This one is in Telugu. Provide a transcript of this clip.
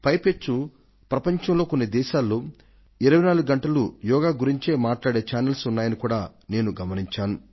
పైపెచ్చు ప్రపంచంలో కొన్ని దేశాలలో 24 గంటలూ యోగా గురించి మాట్లాడే ఛానల్స్ ఉన్నాయనేది నేను గమనించాను